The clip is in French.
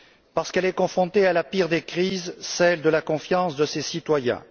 Parce qu'elle est confrontée à la pire des crises celle de la confiance de ses citoyens.